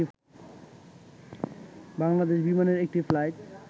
বাংলাদেশ বিমানের একটি ফ্লাইট